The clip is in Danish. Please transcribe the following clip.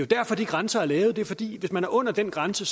derfor de grænser er lavet det er jo fordi det hvis man er under den grænse